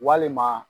Walima